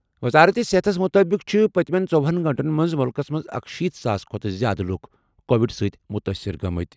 وزارت صحتَس مُطٲبِق چھِ پٔتمہِ ژوہنَ گٲنٛٹَن منٛز مُلکَس منٛز اکشیٖتھ ساس کھۄتہٕ زِیٛادٕ لُکھ کووِڈ سۭتۍ متٲثر گٔمٕتۍ۔